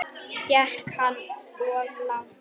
Gekk hann of langt?